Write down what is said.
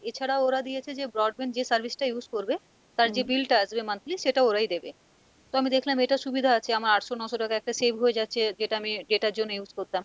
এছাড়াও ওরা দিয়েছে যে broadband যে service টা use করবে তার যে bill টা আসবে monthly, সেটা ওরাই দেবে তো আমি দেখলাম এটা সুবিধা আছে আমার আঠশো নশো টাকা একটা save হয়ে যাচ্ছে যেটা আমি data এর জন্য use করতাম,